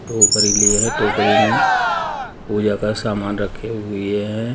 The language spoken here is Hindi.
टोकरी लि है टोकरी में पूजा का सामान रखी हुइ हैं।